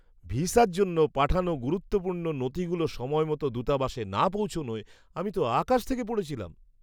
ভিসার জন্য পাঠানো গুরুত্বপূর্ণ নথিগুলো সময়মতো দূতাবাসে না পৌঁছনোয় আমি তো আকাশ থেকে পড়েছিলাম।